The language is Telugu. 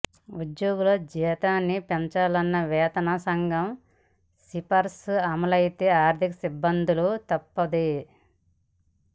ఉద్యోగుల జీతాన్ని పెంచాలన్న వేతన సంఘం సిఫార్సు అమలైతే ఆర్థిక ఇబ్బందులు తప్పవంది